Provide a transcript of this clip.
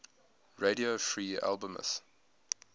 radio free albemuth